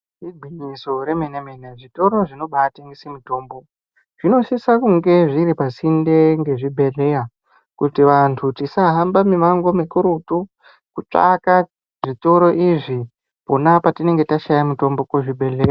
Igwinyiso remenemene zvitoro zvinoba tengese mutombo zvinosisa kunge zviri pasinde ngezvibhehleya kuti vantu tisahamba mumango mukurutu kutsvaka zvitoro izvi pona patinenge tashaya mutombo kuzvibhehleya.